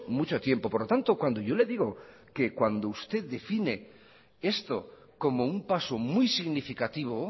mucho tiempo por lo tanto cuando yo le digo que cuando usted define esto como un paso muy significativo